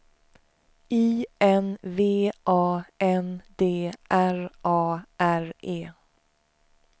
I N V A N D R A R E